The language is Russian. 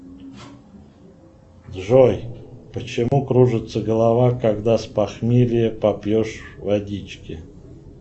джой почему кружится голова когда с похмелья попьешь водички